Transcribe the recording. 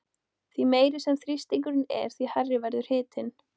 Því meiri sem þrýstingurinn er því hærri verður hitinn.